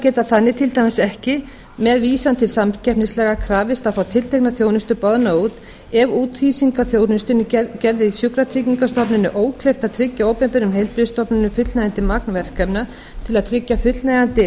geta þannig til dæmis ekki með vísan til samkeppnislaga krafist að fá tiltekna þjónustu boðna út ef úthýsing á þjónustunni gerði sjúkratryggingastofnuninni ókleift að tryggja opinberum heilbrigðisstofnunum fullnægjandi magn verkefna til að tryggja fullnægjandi